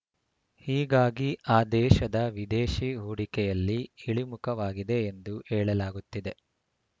ಹೀಗಾಗಿ ಆ ದೇಶದ ವಿದೇಶಿ ಹೂಡಿಕೆಯಲ್ಲಿ ಇಳಿಮುಖವಾಗಿದೆ ಎಂದು ಹೇಳಲಾಗುತ್ತಿದೆ